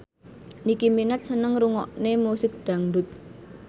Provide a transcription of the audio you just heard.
Nicky Minaj seneng ngrungokne musik dangdut